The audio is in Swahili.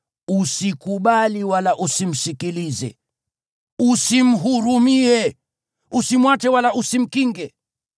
usikubali wala usimsikilize. Usimhurumie! Usimwache wala usimkinge.